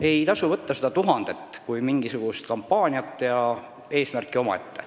Ei tasu võtta seda tuhandet kui mingisugust kampaaniat ja eesmärki omaette.